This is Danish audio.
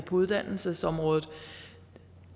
uddannelsesområdet